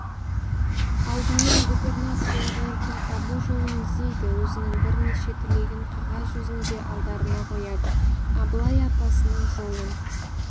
алдымен губернаторлармен тіл табу жолын іздейді өзінің бірнеше тілегін қағаз жүзінде алдарына қояды абылай атасының жолын